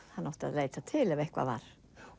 hann átti að leita til ef eitthvað var